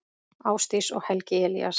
Ásdís og Helgi Elías.